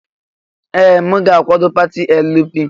Ee! M ga-akwado pati LP.